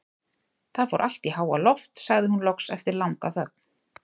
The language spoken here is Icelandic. Það fór allt í háaloft, sagði hún loks eftir langa þögn.